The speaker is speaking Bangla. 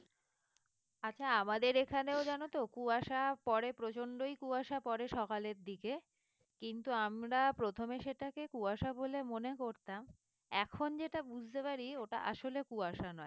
আচ্ছা আমাদের এখানেও জানো তো কুয়াশা পড়ে প্রচন্ডই কুয়াশা পড়ে সকালের দিকে কিন্তু আমরা প্রথমে সেটাকে কুয়াশা বলে মনে করতাম এখন যেটা বুঝতে পারি ওটা আসলে কুয়াশা নয়,